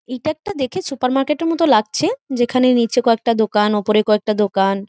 এইটা একটা দেখতে সুপারমার্কেটের মতন লাগছে যেখানে নিচে কয়েকটা দোকান ওপরে কয়েকটা দোকান ।